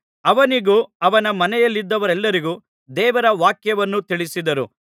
ಅವನಿಗೂ ಅವನ ಮನೆಯಲ್ಲಿದ್ದವರೆಲ್ಲರಿಗೂ ದೇವರ ವಾಕ್ಯವನ್ನು ತಿಳಿಸಿದರು